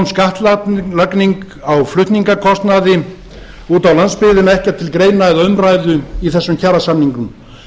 skattlagning á flutningskostnaði út á landsbyggðina ekkert til greina eða umræðu í þessum kjarasamningum